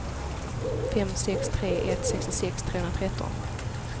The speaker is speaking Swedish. fem sex tre ett sextiosex trehundratretton